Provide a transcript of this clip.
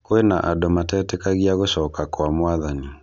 Kwĩna andũ matetĩkagia gũcoka kwa Mwathani.